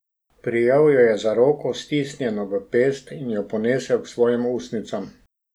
Prijel jo je za roko, stisnjeno v pest, in jo ponesel k svojim ustnicam.